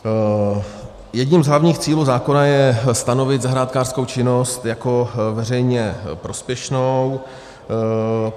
Jedním z hlavních cílů zákona je stanovit zahrádkářskou činnost jako veřejně prospěšnou.